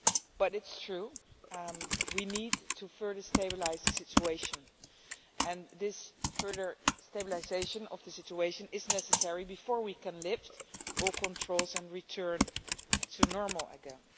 But it is true that we need to further stabilise the situation, and this further stabilisation of the situation is necessary before we can lift all controls and return to normal again.